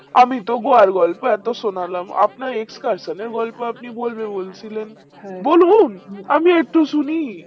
আমি তো গোয়ার গল্প এত শোনালাম আপনি escalation এর গল্প আপনি বলবে বলছিলেন বলুন আমিও একটু শুনি